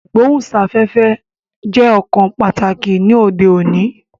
Ìgbóhùn sáfẹ́fẹ́ jẹ́ ọ̀kan pàtàkì ni òde òní